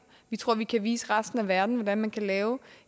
vi tror at vi kan vise resten af verden hvordan man kan lave